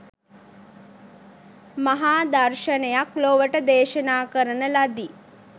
මහා දර්ශනයක් ලොවට දේශනා කරන ලදි